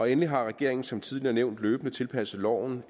endelig har regeringen som tidligere nævnt løbende tilpasset loven